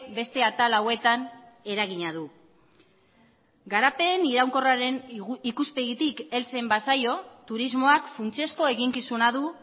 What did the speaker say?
beste atal hauetan eragina du garapen iraunkorraren ikuspegitik heltzen bazaio turismoak funtsezko eginkizuna du